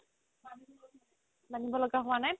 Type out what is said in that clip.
মানিব লগা হুৱা নাই